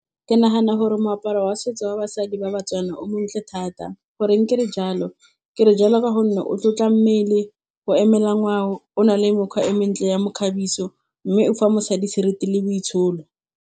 Ke nagana gore moaparo wa setso wa basadi ba batswana o montle thata. Goreng ke re jalo? Ke re jalo ka gonne o tlotla mmele, o emela ngwao, o na le mekgwa e mentle ya mekgabiso mme o fa mosadi seriti le boitsholo.